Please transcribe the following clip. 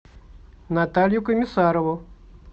наталью комиссарову